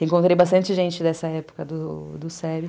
Reencontrei bastante gente dessa época do do sério.